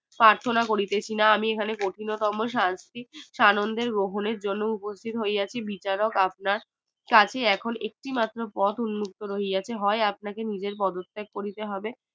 প্রার্থনা করিতেছিনা আমি এখানে কঠিনতম শাস্তি সানন্দে গ্রহণের জন্য উপস্থিত হইয়াছি কাজেই এখন একটি মাত্র পথ উন্মুক্ত রিয়াছে হয় আপনাকে পদত্যাগ করিতে হবে